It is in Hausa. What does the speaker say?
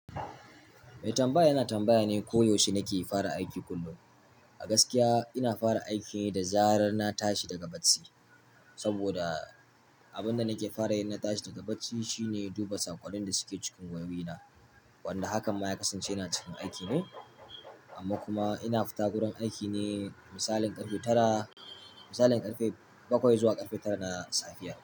Mai tambaya yana tambaya ne ko yaushe nake fara aiki kullum. A gaskiya ina fara aiki ne da zarar na tashi daga bacci saboda abin da nake fara yin na tashi daga bacci shine duba saƙon da suke cikin wayoyina, wanda hakan ma ya kasance yana cikin aiki ne. Amma kuma ina fita wurin aiki ne misalin ƙarfe tara, misalin ƙarfe bakwai zuwa ƙarfe tara na safiyar.